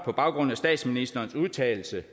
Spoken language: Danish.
på baggrund af statsministerens udtalelse